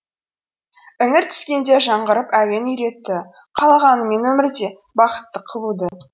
іңір түскенде жаңғырып әуен үйретті қалағанымен өмірде бақытты қылуды